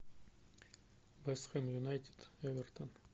вест хэм юнайтед эвертон